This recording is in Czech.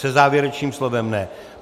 Se závěrečným slovem ne.